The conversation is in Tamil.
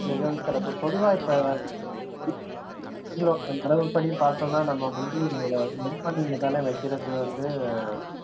மிகவும் சிறப்பு பொதுவா இப்ப பார்த்தோம்னா நம்ம வந்து மண் பானையில தானே வைக்கிறது வந்து